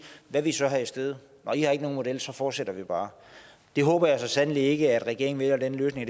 hvad vil i så have i stedet nå i har ikke nogen model så fortsætter vi bare jeg håber så sandelig ikke at regeringen vælger den løsning